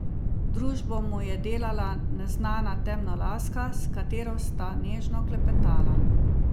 Družbo mu je delala neznana temnolaska, s katero sta nežno klepetala.